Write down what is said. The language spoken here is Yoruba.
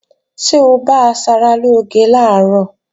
Ṣé o bá asaralóge làárọ̀?